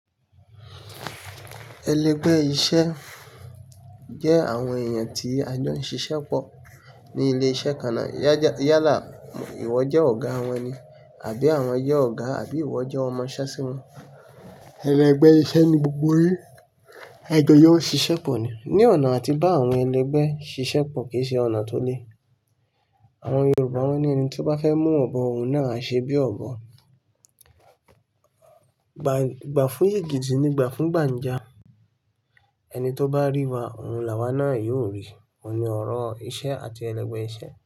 Ẹlẹgbẹ́ iṣẹ́ jẹ́ àwọn èèyàn tí a jọ ń ṣiṣẹ́ pọ̀ ní ilé-iṣẹ́ kan náà. Yálà ìwọ jẹ́ ọ̀gá wọn ni àbí àwọn jẹ́ ọ̀gá àbí ìwọ jẹ́ ọmọṣẹ́ sí wọn. Ẹlẹgbẹ́ iṣẹ́ ni gbogbo yín, ẹ jọ yọ wọ́n ṣiṣẹ́ pọ̀ ni. Ni ọ̀nà àti bá àwọn ẹlẹgbẹ́ ṣiṣẹ́ pọ̀ kì í ṣe ọ̀nà tó le. Àwọn Yorùbá won ni, ẹni tí ó bá fẹ́ mú ọ̀bọ, òun náà á ṣe bí ọ̀bọ. Gba fún ègìdì ni gba fún gbàǹja. Ẹni tó bá ríwa, òun làwá náà yóò rí. Oun ni ọ̀rọ̀, iṣẹ́ àti ẹlẹgbẹ́ iṣẹ́.